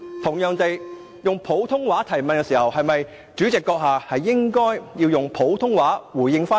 又如果他是以普通話提問，主席是否應該以普通話回應？